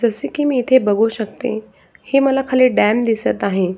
जसे की मी इथे बघू शकते हे मला खाली डॅम दिसत आहे.